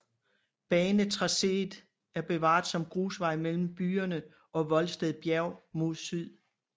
Banetracéet er bevaret som grusvej mellem byen og Voldsted Bjerg mod syd